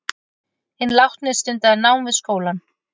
Hinn látni stundaði nám við skólann